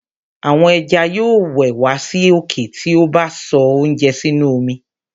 àwọn ẹja yóò wẹ̀ wá sí òkè ti a bá sọ oúnjẹ sínú omi.